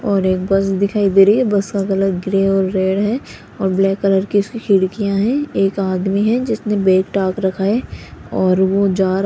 और एक बस दिखाई दे रही है और बस का कलर ग्रे और रेड है और ब्लैक कलर की उसकी खिड़कियां हैं एक आदमी है जिसने बैग टांग रखा है और वो जा र --